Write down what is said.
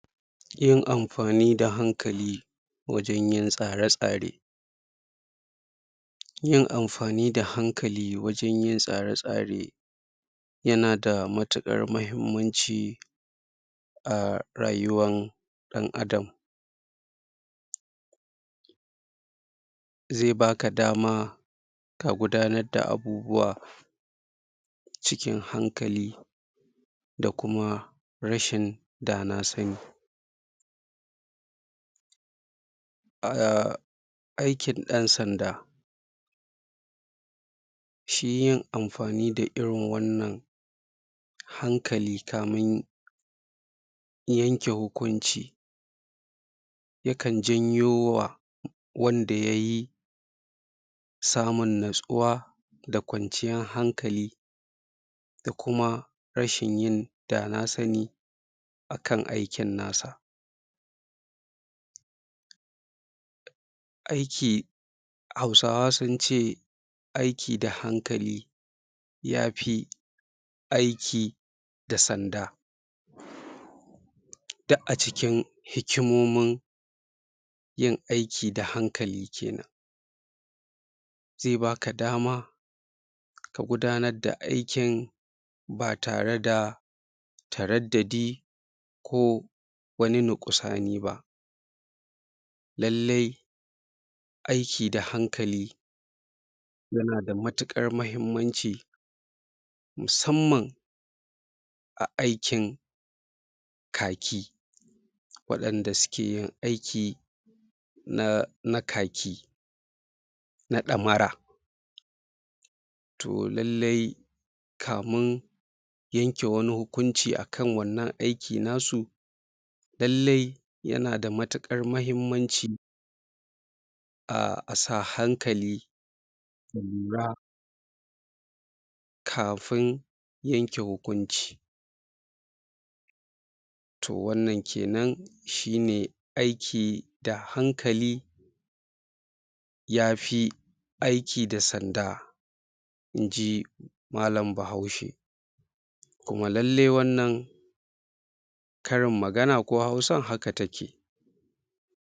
Yin amfani da hankali wajen yin tsare-tsare yin amfani da hankali wajen yin tsare-tsare yana da matuƙar mahimmanci a rayuwan ɗan'adam zai baka dama ka gudanar da abubuwa cikin hankali da kuma rashin da na sani a aikin ɗan sanda shi yin amfani da irin wannan hankali kamin ya yanke hukunci ya kan janyo wa wanda yayi samun natsuwa da kwanciyar hankali da kuma rashin yin da na sani akan aikin na sa aiki Hausawa sun ce aiki da hankali yafi aiki da sanda duk a cikin hikimomin yin aiki da hankali kenan zai baka dama ka gudanar da aikin ba tare da taraddadi ko wani nukusani ba lallai aiki da hankali yana da matuƙar mahimmanci musamman a aikin kaki waɗanda suke yin aiki na kaki na ɗammara to lallai ka min yanke wani hukunci akan wannan aikin na su lallai yana da matuƙar mahimmanci a sa hankali da lura kafin yanke hukunci to wannan kenan shi ne aiki da hankali yafi aiki da sanda inji malam bahaushe kuma lallai wannan karin magana ko Hausa haka take.